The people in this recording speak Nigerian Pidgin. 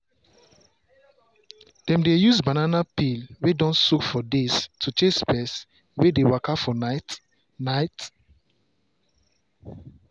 dem dey use banana peel wey don soak for days to chase pest wey dey waka for night. night.